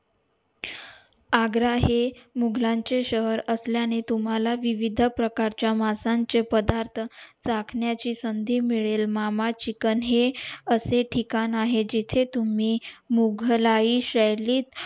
आग्रा हे मुघलां चे शहर असल्या ने तुम्हला विविध प्रकारच्या मासा चे पदार्थ चाखण्या ची संधी मिळेल मामा chicken हे असे ठिकाण आहे जेथे तुम्ही मुघलाई शैलीत